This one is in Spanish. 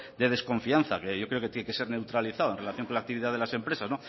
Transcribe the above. de desconfianza que yo creo que tiene que ser neutralizado en relación con la actividad de las empresas